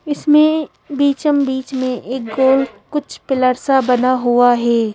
इसमें बिछम बीच में एक गोल कुछ पिलर सा बना हुआ है।